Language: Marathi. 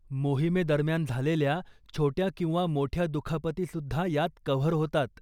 मोहिमेदरम्यान झालेल्या छोट्या किंवा मोठ्या दुखापतीसुद्धा यात कव्हर होतात.